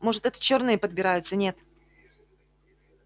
может это чёрные подбираются нет